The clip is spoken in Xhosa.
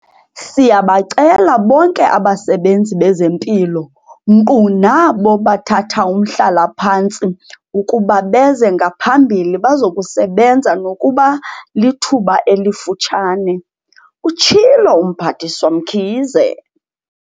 "Siyabacela bonke abasebenzi bezempilo, nkqu nabo bathathaumhlala-phantsi, ukuba beze ngaphambili bazokusebenza nokuba lithuba elifutshane," utshilo uMphathiswa Mkhize.